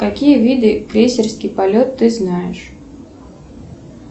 какие виды крейсерский полет ты знаешь